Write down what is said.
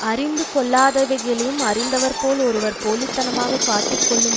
அறிந்து கொள்ளாதவைகளையும் அறிந்தவர் போல ஒருவர் போலித்தனமாகக் காட்டிக் கொள்ளும்